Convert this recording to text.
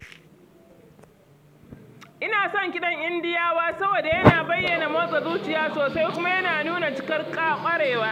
Ina son kiɗan Indiyawa saboda yana bayyana motsa zuciya sosai kuma yana nuna cikar ƙwarewa.